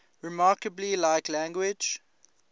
remarkably like language